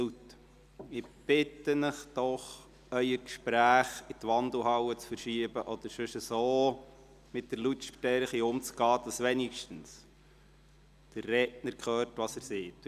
Ich bitte Sie, Ihre Gespräche in die Wandelhalle zu verschieben oder mit der Lautstärke so umzugehen, dass wenigstens der Redner hört, was er sagt.